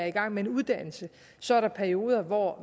i gang med en uddannelse så er der perioder hvor